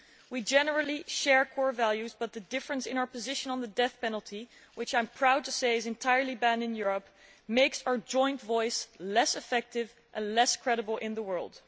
We generally share core values, but the difference in our position on the death penalty, which I am proud to say is entirely banned in Europe, makes our joint voice less effective and less credible in the world.